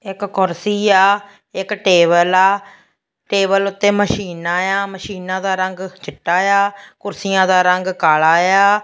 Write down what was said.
ਇੱਕ ਕੁਰਸੀ ਆ ਇੱਕ ਟੇਬਲ ਆ ਟੇਬਲ ਉਤੇ ਮਸ਼ੀਨਾ ਆ ਮਸ਼ੀਨਾਂ ਦਾ ਰੰਗ ਚਿੱਟਾ ਆ ਕੁਰਸੀਆਂ ਦਾ ਰੰਗ ਕਾਲਾ ਆ।